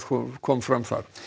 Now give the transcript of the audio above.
kom fram þar